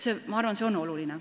Ma arvan, et see on oluline.